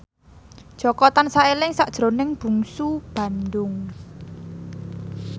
Jaka tansah eling sakjroning Bungsu Bandung